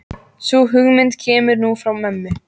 Sú hugmynd kemur nú frá mömmu.